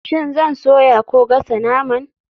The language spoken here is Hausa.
Shin zan soya ko gasa naman?